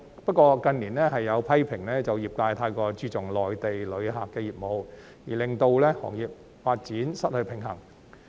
不過，近年有批評指，業界太過注重內地旅客的業務，令到行業發展失去平衡。